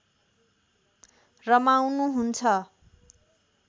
रमाउनु हुन्छ